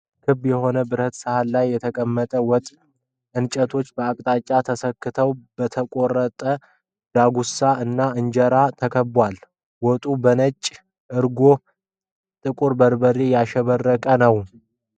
ክብ በሆነ ብረት ሳህን ላይ የተቀመጠ ወጥ እንጨቶች በየአቅጣጫው ተሰክተው በተቆረጠ ዳጉሳ እና እንጀራ ተከቧል። ወጡ በነጭ እርጎና ጥቁር በርበሬ ያሸበረቀ ነው።